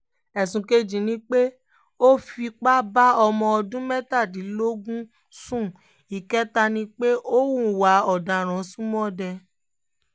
ẹ̀sùn kejì ni pé ó fipá bá ọmọ ọdún mẹ́tàdínlógún sún ìkẹta ni pé ó hùwà ọ̀daràn ṣọmọdé